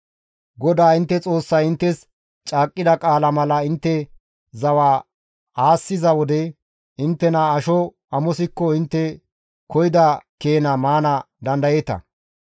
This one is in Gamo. GODAA intte Xoossay inttes caaqqida qaala mala intte zawa aassiza wode inttena asho amosiko intte koyida keena maana dandayeeta.